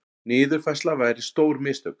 Niðurfærsla væri stór mistök